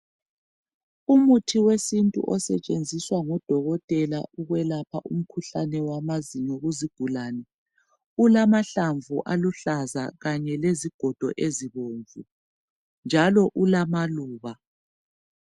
Umuthi wesintu osetshenziswa ngodokotela ukwelapha umkhuhlane wamazinyo kuzigulane, Ulamahlamvu aluhlaza. Kanye lezigodo ezibomvu, njalo ulamaluba.